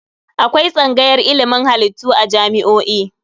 Akwai tsangayar ilimin halittu a jami'o'i.